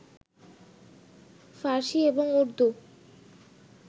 ফার্সী এবং উর্দু